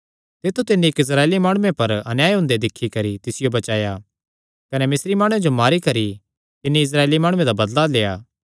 तित्थु तिन्नी इक्क इस्राएली माणुये पर अन्याय हुंदे दिक्खी करी तिसियो बचाया कने मिस्री माणुये जो मारी करी तिस इस्राएली माणुये दा बदला लेआ